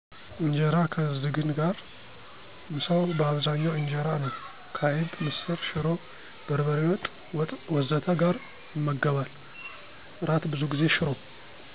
ኢንጀራ ከዝግን ጋር: ምሳው በአብዛኛው ኢንጀራ ነው፣ ከአይብ፣ ምስር፣ ሽሮ፣ በርበሬ ወጥ፣ ወጥ ወዘተ ጋር ይመገባል። እራት ብዙ ጊዜ ሽሮ